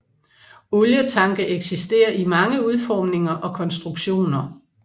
Olietanke eksisterer i mange udformninger og konstruktioner